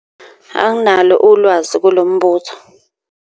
Anginalo ulwazi kulo mbuzo.